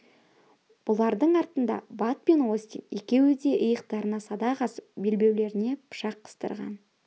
бұлардың артында бат пен остин екеуі де иықтарына садақ асып белбеулеріне пышақ қыстырған